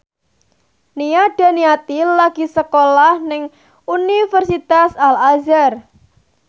Nia Daniati lagi sekolah nang Universitas Al Azhar